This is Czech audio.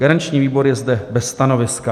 Garanční výbor je zde bez stanoviska.